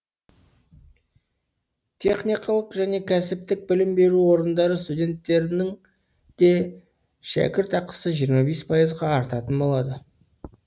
техникалық және кәсіптік білім беру орындары студенттерінің де шәкіртақысы жиырма бес пайызға артатын болады